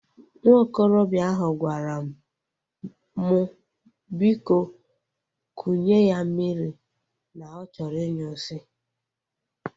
Nwa okorobịa ahụ gwara m mụ biko kunye ya mmiri na ọ chọrọ inyu nsị